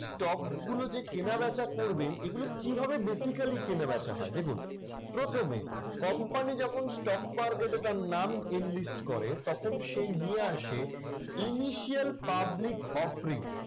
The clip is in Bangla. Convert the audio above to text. stock গুলো যে কেনাবেচা করবেন এইগুলো কিভাবে basically কেনাবেচা হয়। দেখুন প্রথমে company যখন stock market এ তার নাম enlist করে তখন সে নিয়ে আসে initial public offering